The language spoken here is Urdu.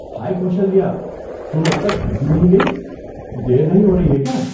ہائی کوشلیہ، تم اب تک گھر کیوں نہیں گئی؟ دیر نہیں ہو رہی ہے کیا؟